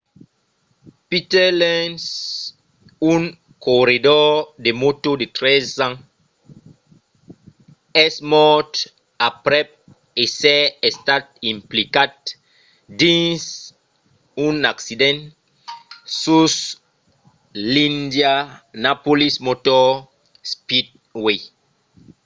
peter lenz un corredor de mòto de 13 ans es mòrt aprèp èsser estat implicat dins un accident sus l'indianapolis motor speedway